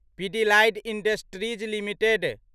Pidilite industries limited